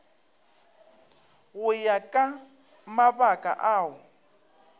go ya ka mabaka ao